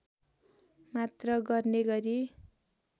मात्र गर्ने गरी